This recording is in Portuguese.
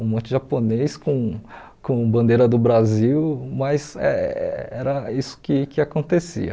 Um monte de japoneses com com bandeira do Brasil, mas eh era isso que que acontecia.